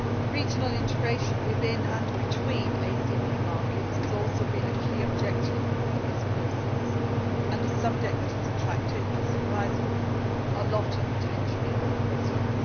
Regional integration within and between ACP markets has also been a key objective of this process and a subject that has attracted not surprisingly a lot of attention in oral questions.